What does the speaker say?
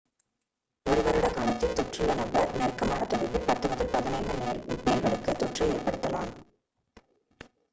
ஒரு வருட காலத்தில் தொற்றுள்ள நபர் நெருக்கமான தொடர்பில் 10 முதல் 15 பேர்களுக்கு தொற்றை ஏற்படுத்தலாம்